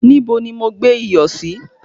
Níbo ni mo gbé iyọ̀ sí?